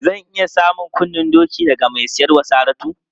Zan iya samun kunnen doki daga mai siyar wa Saratu?